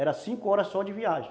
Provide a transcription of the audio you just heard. Era cinco horas só de viagem.